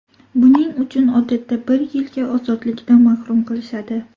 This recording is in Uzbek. Buning uchun odatda bir yilga ozodlikdan mahrum qilishadi.